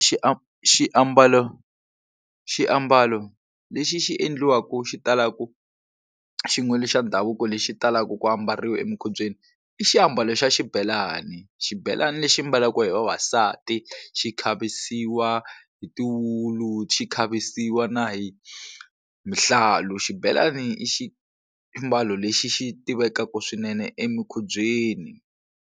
xiambalo xiambalo lexi xi endliwaku xi talaku xin'we xa ndhavuko lexi talaka ku ambariwa emukhubyeni i xiambalo xa xibelani xibelani lexi mbalaka hi vavasati xi khavisiwa hi tiwulu xi khavisiwa na hi mihlalu xibelani i xiambalo lexi xi tivekaka swinene emikhubyeni.